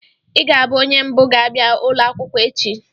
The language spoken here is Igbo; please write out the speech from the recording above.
Ị ga-abụ onye mbụ ga-abịa ụlọ akwụkwọ echi!